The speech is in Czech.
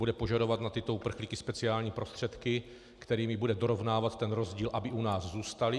Bude požadovat na tyto uprchlíky speciální prostředky, kterými bude dorovnávat ten rozdíl, aby u nás zůstali?